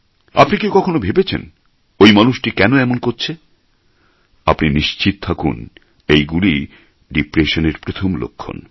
আপনি কি কখনো ভেবেছেন ঐ মানুষটি কেন এমন করছে আপনি নিশ্চিত থাকুন এগুলিই ডিপ্রেশন এর প্রথম লক্ষণ